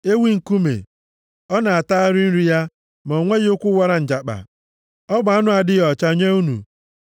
Ewi nkume: Ọ na-atagharị nri ya, ma o nweghị ụkwụ wara njakpa. Ọ bụ anụ na-adịghị ọcha nye unu.